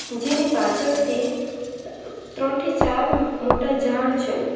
જેની પાછળથી ત્રણ થી ચાર મોટા ઝાડ છે.